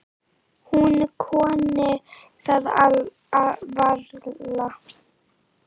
Hún kunni það varla.